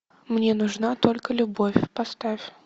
мне нужна только любовь поставь